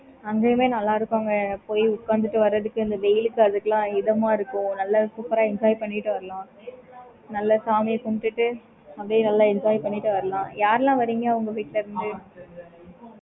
okay mam